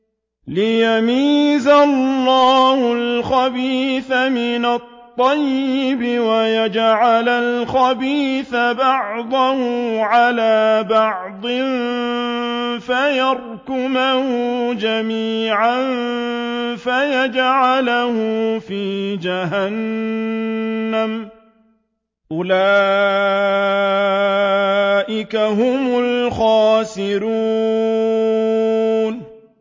لِيَمِيزَ اللَّهُ الْخَبِيثَ مِنَ الطَّيِّبِ وَيَجْعَلَ الْخَبِيثَ بَعْضَهُ عَلَىٰ بَعْضٍ فَيَرْكُمَهُ جَمِيعًا فَيَجْعَلَهُ فِي جَهَنَّمَ ۚ أُولَٰئِكَ هُمُ الْخَاسِرُونَ